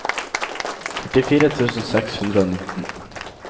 førtifire tusen seks hundre og nitten